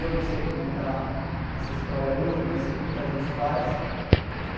Eu não sei como está essa história hoje, mas eu sei que muita gente faz.